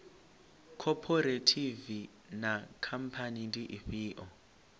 khophorethivi na khamphani ndi ifhio